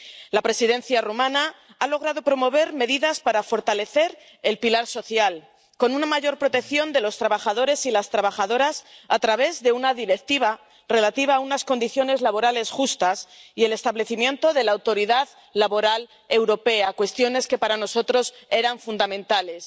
La Presidencia rumana ha logrado promover medidas para fortalecer el pilar social, con una mayor protección de los trabajadores y las trabajadoras a través de una Directiva relativa a unas condiciones laborales justas y el establecimiento de la Autoridad Laboral Europea, cuestiones que para nosotros eran fundamentales.